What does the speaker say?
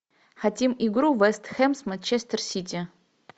хотим игру вест хэм с манчестер сити